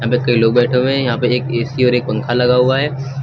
कई लोग बैठे हुए हैं यहां पे एक ए_सी और एक पंखा लगा हुआ है।